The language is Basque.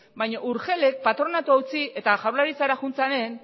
baina urgelek patronatua utzi eta jaurlaritzara joan zenean